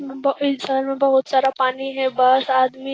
इस साल मे बहुत सारा पानी है बस आदमी --